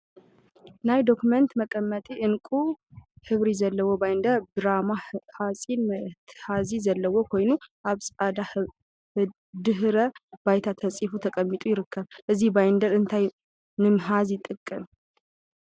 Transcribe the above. ናይ ዶክሜንት መቀመጢ ዕንቋይ ሕብሪ ዘለዎ ባይንደር ብራማ ሓፂን መትሓዚ ዘለዎ ኮይኑ፤ አብ ፃዕዳ ድሕረ ባይታ ተዓፂፉ ተቀሚጡ ይርከብ፡፡ እዚ ባይንደር እንታይ ንምትሓዝ ይጠቅም?